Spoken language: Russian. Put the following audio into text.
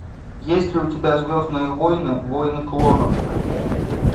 есть ли у тебя звездные войны войны клонов